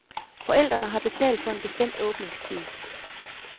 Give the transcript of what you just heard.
Forældrene har betalt for en bestemt åbningstid.